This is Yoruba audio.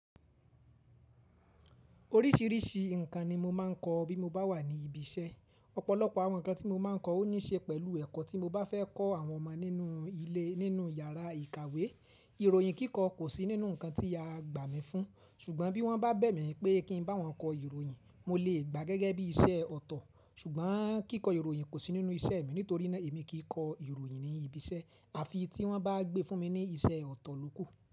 Oríṣìíríṣìí ǹkan ni mo máa ń kọ bí mo bá wà ní ibi iṣẹ́. Ọ̀pọ̀lọpọ̀ àwọn ǹkan tí mo máa ń kọ o ní ṣe pẹ̀lú ẹ̀kọ́ tí mo bá fẹ́ kọ́ àwọn ọmọ nínú ilé nínú yàrá ìkàwé. Ìròyìn kíkọ kò sí nínú ǹkan tí a gbà mí fún, ṣùgbọ́n bí wọ́n bá bẹ̀ mí pé kí n bá wọn kọ ìròyìn, mo lè gbà gẹ́gẹ́ bí iṣẹ́ ọ̀tọ̀. Ṣùgbọ́n kíkọ ìròyìn kò sí nínú iṣẹ́ mi nítorí naa èmi kìí kọ ìròyìn ní ibi iṣẹ́. Àfi tí wọ́n bá gbé fún mi ní iṣẹ́ ọ̀tọ̀ ló kù.